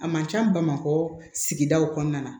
A man ca bamakɔ sigidaw kɔnɔna na